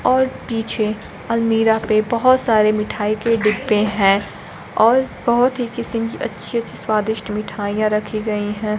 और पीछे अलमीरा पे बहोत सारे मिठाई के डिब्बे हैं और बहुत ही किसिम अच्छी अच्छी स्वादिष्ट मिठाइयां रखी गई हैं।